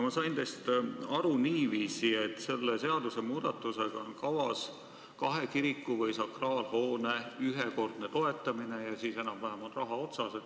Ma sain teist aru niiviisi, et selle seadusmuudatusega on kavas kahe kiriku või sakraalhoone ühekordne toetamine ja siis enam-vähem on raha otsas.